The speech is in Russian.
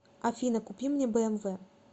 афина купи мне бмв